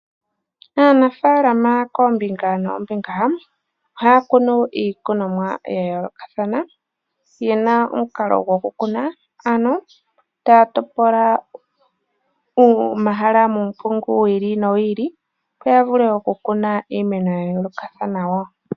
Aanafaalama koombinga noombinga ohaya kunu iikunomwa yayoolokathana. Oyena omukalo gokukuna ano taya topola omahala muumpungu wiili nowiili opo yavule okukuna iimeno yayoolokathana.